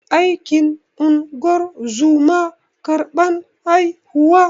Aikin ingozuma karban haihuwa